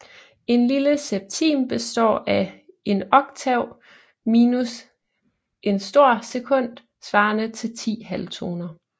En lille septim består af en oktav minus en stor sekund svarende til 10 halvtoner